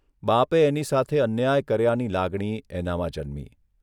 બાપે એની સાથે અન્યાય કર્યાની લાગણી એનામાં જન્મી.